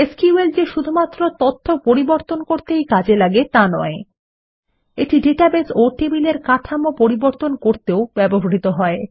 SQL যে শুধুমাত্র তথ্য পরিবর্তন করতেই কাজে আগে তা নয় এটি ডেটাবেস ও টেবিলের কাঠামো পরিবর্তন করতেও ব্যবহৃত হয়